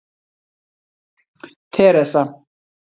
Teresa